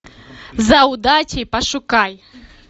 за удачей пошукай